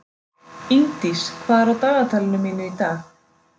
Ingdís, hvað er á dagatalinu mínu í dag?